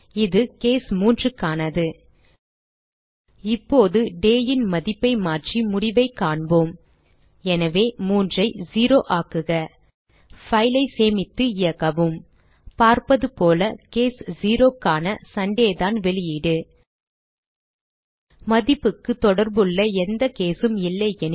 இது கேஸ் 3 க்கானது இப்போது day ன் மதிப்பை மாற்றி முடிவைக் காண்போம் எனவே 3 ஐ 0 ஆக்குக file ஐ சேமித்து இயக்கவும் பார்ப்பதுபோல கேஸ் 0 க்கான Sundayதான் வெளியீடு மதிப்புக்குத் தொடர்புள்ள எந்த case உம் இல்லையெனில்